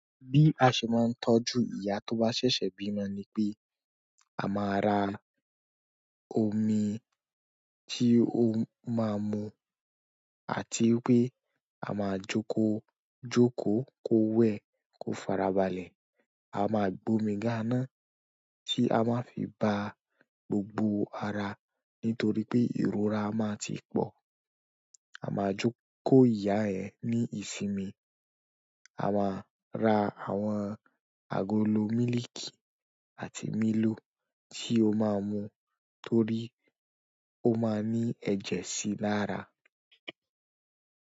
Bí a ṣe máa ń tọ́jú ìyá tó bá ṣẹ̀ṣẹ̀ bímọ ni pé, a máa ra omi tí ó máa mu àti wípé a máa jóko jóko kó wẹ̀ kó farabalẹ̀. A máa gbo mi ka ná tí a máa fi ba gbogbo ara nítorí pé ìrora máa ti pọ̀. A máa jóko ìyá ẹ ní ìsinmi. A máa ra àwọn agolo mílìkì àti mílò tí ó máa mu torí ó máa ní ẹ̀jẹ̀ sí lára.